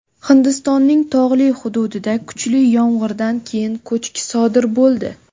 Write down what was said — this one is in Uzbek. Hindistonning tog‘li hududida kuchli yomg‘irdan keyin ko‘chki sodir bo‘ldi.